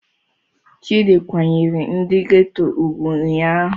Chidi kwanyere ndi geto ugwu ụnyahụ.